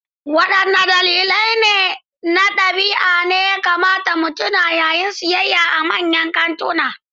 Waɗanne dalilai na ɗabi'a ne ya kamata mu tuna yayin sayayya a manyan kantuna?